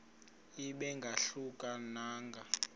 ibe ingahluka nanga